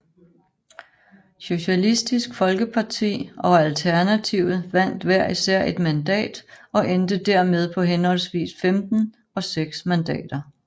Socialistisk Folkeparti og Alternativet vandt hver især et mandat og endte dermed på henholdsvis 15 og 6 mandater